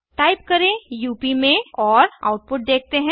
type करें up में और आउटपुट देखते हैं